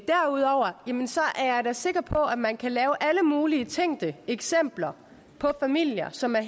derudover er jeg da sikker på at man kan lave alle mulige tænkte eksempler på familier som er